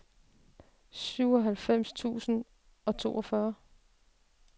syvoghalvfems tusind og toogfyrre